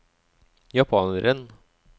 japaneren